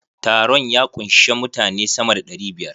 Taron ya kunshi mutane sama da ɗari biyar.